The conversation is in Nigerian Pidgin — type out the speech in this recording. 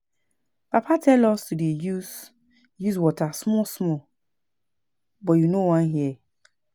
Papa tell us to dey use use water small small but you know wan hear